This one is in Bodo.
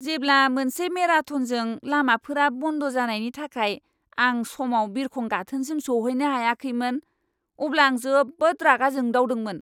जेब्ला मोनसे मेराथनजों लामाफोरा बन्द जानायनि थाखाय आं समाव बिरखं गाथोनसिम सौहैनो हायाखैमोन, अब्ला आं जोबोद रागा जोंदावदोंमोन!